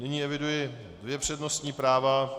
Nyní eviduji dvě přednostní práva.